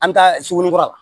An bɛ taa sugunikura